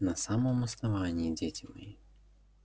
на самом основании дети мои